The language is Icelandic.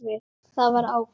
Það var áfall.